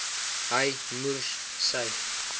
hy moers sy